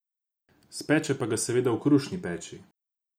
Speče pa ga seveda v krušni peči.